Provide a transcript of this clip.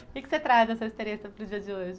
O que que você traz dessa experiência para o dia de hoje?